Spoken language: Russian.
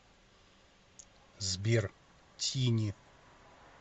сбер тини